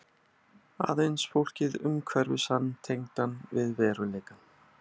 Aðeins fólkið umhverfis hann tengdi hann við veruleikann.